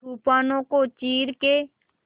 तूफानों को चीर के